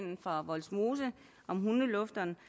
fra vollsmose om hundelufteren